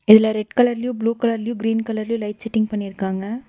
இதுல ரெட் கலர்லையு ப்ளூ கலர்லயு கிரீன் கலர்லயும் லைட் செட்டிங் பண்ணிருக்காங்க.